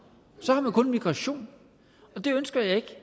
så har man kun migration og det ønsker jeg ikke